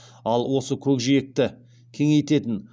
ал осы көкжиекті кеңейтетін